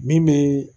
Min bɛ